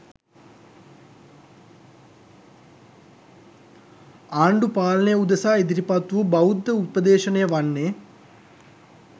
ආණ්ඩු පාලනය උදෙසා ඉදිරිපත් වූ බෞද්ධ උපදේශනය වන්නේ